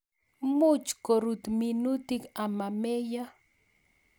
Much korut minutik amameiyo